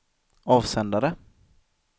avsändare